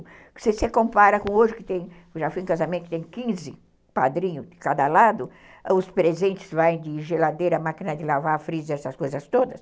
Se você compara com hoje que tem, já fui em casamento, que tem quinze padrinhos de cada lado, os presentes vão de geladeira, máquina de lavar, freezer, essas coisas todas.